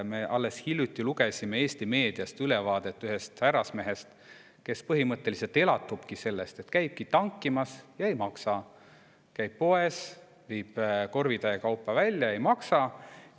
Me alles hiljuti lugesime Eesti meediast ülevaadet ühest härrasmehest, kes põhimõtteliselt elatubki sellest, et käib tankimas ja ei maksa, käib poes, viib korvitäie kaupa välja, ei maksa.